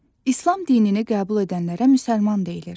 İslam dinini qəbul edənlərə müsəlman deyilir.